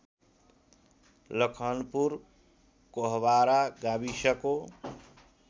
लखनपुर कोहवारा गाविसको